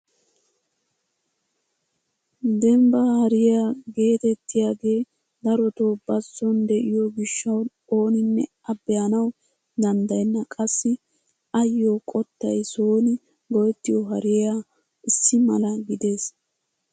Dembbaa hariyaa getettiyaagee darotoo bazon de'iyoo gishshawu oninne a be'anawu danddayenna! qassi ayoo qottay sooni go"ettiyoo hariyaaya issi mala gidees.